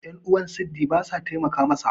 yan'uwan sidi ba sa taimaka masa